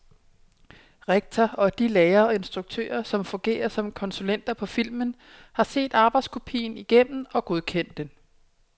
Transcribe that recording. Rektor og de lærere og instruktører, der fungerer som konsulenter på filmen, har set arbejdskopien igennem og godkendt den.